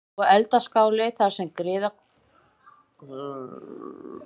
Og eldaskáli þar sem griðkonur hrærðu í pottum sem hefðu getað innbyrt eitt stykki krakka.